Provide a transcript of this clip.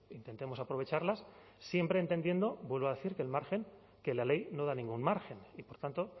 intentemos aprovecharlas siempre entendiendo vuelvo a decir que el margen que la ley no da ningún margen y por tanto